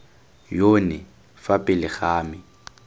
yone fa pele ga me